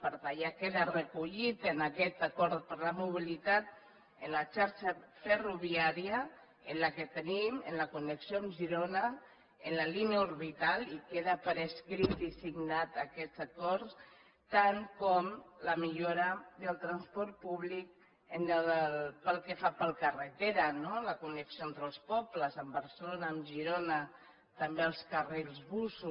per tant ja queda recollit en aquest acord per la mobilitat en la xarxa ferroviària en la qual tenim en la connexió amb girona en la línia orbital i queda per escrit i signat aquest acord tant com la millora del transport públic pel que fa per carretera no la connexió entre els pobles amb barcelona amb girona també els carrils bus